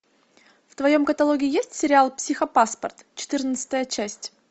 в твоем каталоге есть сериал психопаспорт четырнадцатая часть